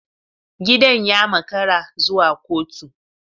Gidan ya makara zuwa kotu.